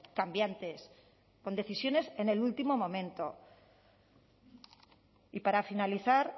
cambiantes con decisiones en el último momento y para finalizar